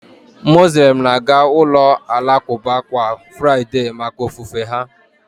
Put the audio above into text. Muslems na-aga ụlọ alakụba kwa furaịdee maka ofufe ha